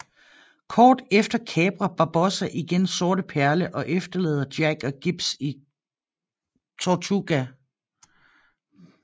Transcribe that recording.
Kort efter kaprer Barbossa igen Sorte Perle og efterlader Jack og Gibbs i Tortuga